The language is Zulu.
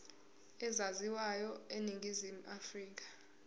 ezaziwayo eningizimu afrika